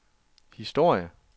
historie